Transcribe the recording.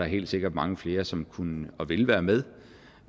helt sikkert mange flere som kunne og vil være med